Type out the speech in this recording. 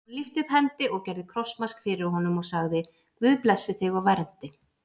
Hann lyfti upp hendi og gerði krossmark fyrir honum og sagði:-Guð blessi þig og verndi.